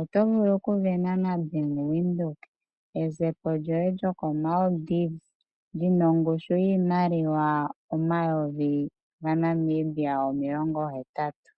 oto vulu okusindana naBank Windhoek ezepo lyoye lyokoMaldives lina ongushu yiimaliwa omayoyi gaNamibia omilongo hetatu.